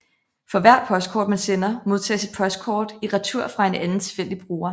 For hvert postkort man sender modtages et postkort i retur fra en anden tilfældig bruger